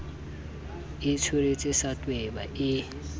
a tsweretse sa tweba e